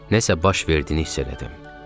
Nəsə baş verdiyini hiss elədim.